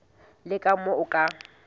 le ka moo o ka